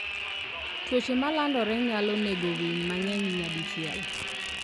Tuoche ma landore nyalo nego winy mang'eny nyadichiel.